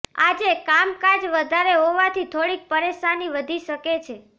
આજે કામકાજ વધારે હોવાથી થોડીક પરેશાની વધી શકે છે